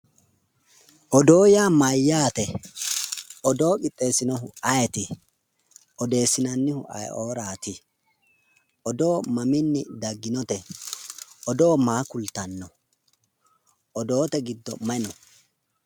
Odoo yaa mayyaate? Odoo qixxeessinohu ayeeti? Odeessinannihu ayioraati? Odoo maminni dagginote? Odoo maa kultanno? odoote giddo mayi no?